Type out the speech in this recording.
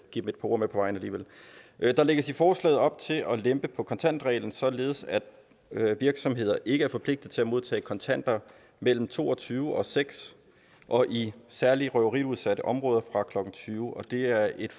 et par ord med på vejen alligevel der lægges i forslaget op til at lempe på kontantreglen således at virksomheder ikke er forpligtet til at modtage kontanter mellem to og tyve og nul seks og i særlig røveriudsatte områder fra klokken tyve og det er et